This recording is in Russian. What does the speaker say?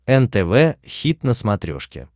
нтв хит на смотрешке